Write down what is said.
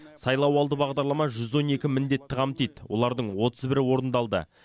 сайлауалды бағдарлама жүз он екі міндетті қамтиды олардың отыз бірі орындалды